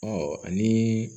Ɔ ani